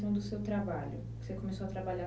do seu trabalho, você começou a trabalhar...